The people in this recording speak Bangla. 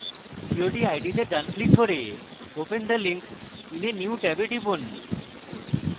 cod id তে ডান click করে open the link in a new tab a টিপুন